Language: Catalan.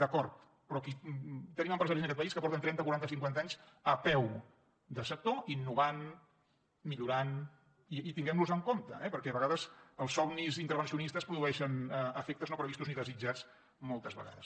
d’acord però tenim empresaris en aquest país que porten trenta quaranta i cinquanta anys a peu de sector innovant millorant i tinguem los en compte perquè a vegades els somnis intervencionistes produeixen efectes no previstos ni desitjats moltes vegades